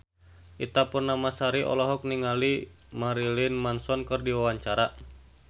Ita Purnamasari olohok ningali Marilyn Manson keur diwawancara